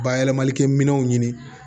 Bayɛlɛmalikɛ minɛnw ɲini